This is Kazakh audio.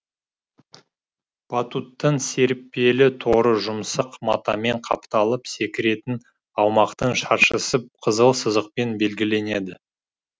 батуттың серіппелі торы жұмсақ матамен қапталып секіретін аумақтың шаршысы қызыл сызықпен белгіленеді